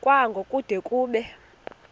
kwango kude kube